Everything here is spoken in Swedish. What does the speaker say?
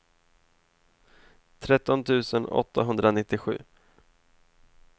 tretton tusen åttahundranittiosju